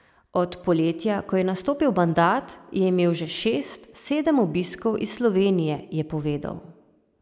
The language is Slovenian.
Od poletja, ko je nastopil mandat, je imel že šest, sedem obiskov iz Slovenije, je povedal.